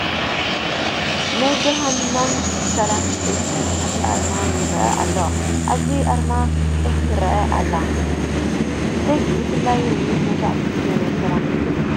ናይ ብርሃንና ሰላም ቤት ሕትመት ኣርማ ይርአ ኣሎ፡፡ ኣብዚ ኣርማ ዒፍ ትርአ ኣላ፡፡ ዒፍ ብፍላይ ርግቢት መብዛሕትኡ ግዜ ናይ ሰላም ምልክት እያ፡፡